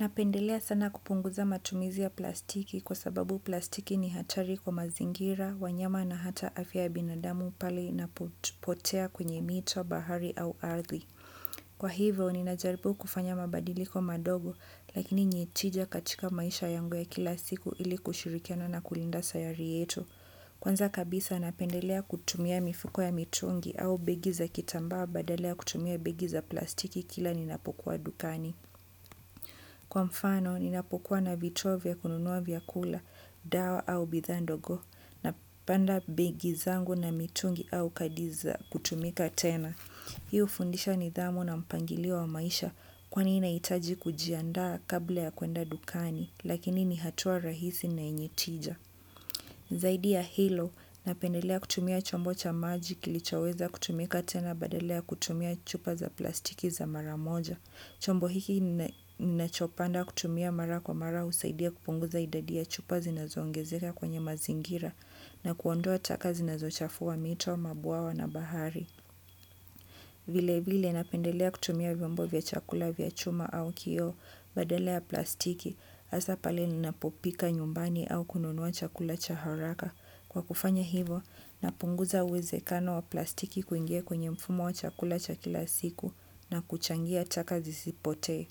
Napendelea sana kupunguza matumizi ya plastiki kwa sababu plastiki ni hatari kwa mazingira, wanyama na hata afya ya binadamu pale inapopotea kwenye mito, bahari au ardhi. Kwa hivyo, ninajaribu kufanya mabadiliko madogo, lakini yeye tija katika maisha yangu ya kila siku ili kushirikiana na kulinda sayari yetu. Kwanza kabisa napendelea kutumia mifuko ya mitungi au begi za kitambaa badala ya kutumia begi za plastiki kila ninapokuwa dukani. Kwa mfano, ninapokuwa na vitu vya kununua, vyakula, dawa au bidhaa ndogo, napanga begi zangu na mitungi au kadi za kutumika tena. Hii hufundisha nidhamu na mpangilio wa maisha kwani nahitaji kujiandaa kabla ya kwenda dukani, lakini ni hatua rahisi na yenye tija. Zaidi ya hilo, napendelea kutumia chombo cha maji kilichoweza kutumika tena badala ya kutumia chupa za plastiki za mara moja. Chombo hiki ninachopenda kutumia mara kwa mara husaidia kupunguza idadi ya chupa zinazoongezeka kwenye mazingira na kuondoa taka zinazochafua mito, mabwawa na bahari. Vilevile napendelea kutumia vyombo vya chakula vya chuma au kioo badala ya plastiki hasa pale ninapopika nyumbani au kununua chakula cha haraka. Kwa kufanya hivyo, napunguza uwezekano wa plastiki kuingia kwenye mfumo wa chakula cha kila siku na kuchangia chaka zisipotee.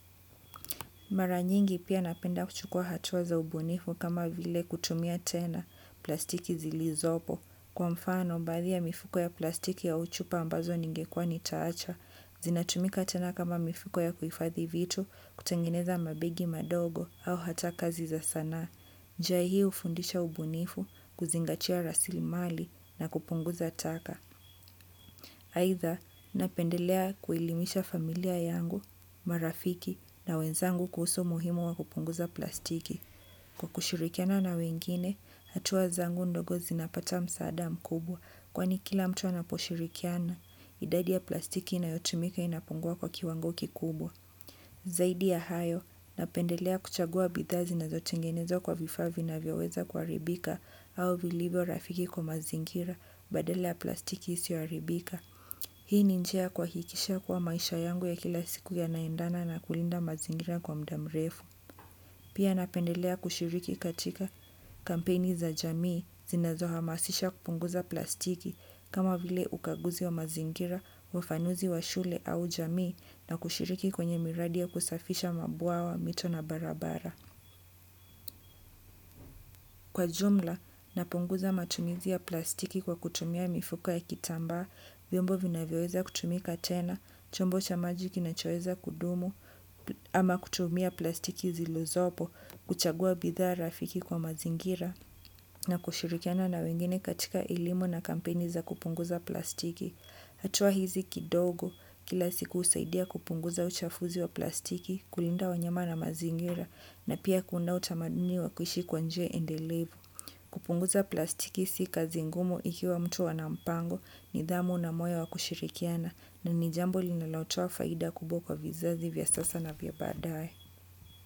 Mara nyingi pia napenda kuchukua hatua za ubunifu kama vile kutumia tena plastiki zilizopo kwa mfano baadhi ya mifuko ya plastiki ya chupa ambazo ningekuwa nitaacha. Zinatumika tena kama mifuko ya kuhifadhi vitu, kutengeneza mabegi madogo au hata kazi za sanaa. Njia hii hufundisha ubunifu, kuzingatia rasilimali na kupunguza taka. Aidha, napendelea kuelimisha familia yangu, marafiki na wenzangu kuhusu umuhimu wa kupunguza plastiki. Kwa kushirikiana na wengine hatua zangu ndogo zinapata msaada mkubwa. Kwani kila mtu anaposhirikiana, idadi ya plastiki inayotumika inapungua kwa kiwango kikubwa. Zaidi ya hayo, napendelea kuchagua bidhaa zinazotengenezwa kwa vifaa vinavyoweza kuharibika au vilivyo rafiki kwa mazingira badala ya plastiki isiyoharibika. Hii ni njia ya kuhakikisha kuwa maisha yangu ya kila siku yanaendana na kulinda mazingira kwa muda mrefu. Pia napendelea kushiriki katika kampeni za jamii zinazohamasisha kupunguza plastiki kama vile ukaguzi wa mazingira, ufafanuzi wa shule au jamii na kushiriki kwenye miradi ya kusafisha mabwawa, mito na barabara. Kwa jumla, napunguza matumizi ya plastiki kwa kutumia mifuko ya kitambaa, vyombo vinavyoweza kutumika tena, chombo cha maji kinachoweza kudumu, ama kutumia plastiki zilizopo, kuchagua bidhaa rafiki kwa mazingira, na kushirikiana na wengine katika elimu na kampeni za kupunguza plastiki. Hatua hizi kidogo kila siku husaidia kupunguza uchafuzi wa plastiki, kulinda wanyama na mazingira na pia kuunda utamaduni wa kuishi kwa njia endelevu. Kupunguza plastiki si kazi ngumu ikiwa mtu ana mpango, nidhamu na moyo wa kushirikiana na ni jambo linalotoa faida kubwa kwa vizazi vya sasa na vya baadaye.